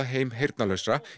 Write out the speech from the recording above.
heim heyrnarlausra